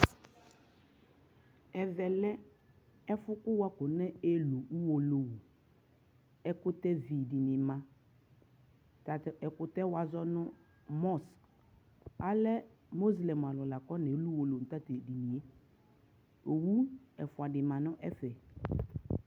Ɛvɛ lɛ ɛfu kʋ wafɔelʋ Uwolowu Ɛkʋtɛvi di ni ma Tatʋ ɛkutɛ wazɔ nʋ Mɔsk Alɛ moslɛm alʋ nafɔnelʋ Uwolowu nʋ tatʋ edini yɛ